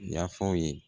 Yafa aw ye